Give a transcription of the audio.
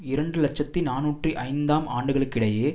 இரண்டு இலட்சத்தி நாநூற்று ஐந்தாம் ஆண்டுகளுக்கிடையே